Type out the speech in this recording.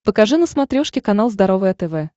покажи на смотрешке канал здоровое тв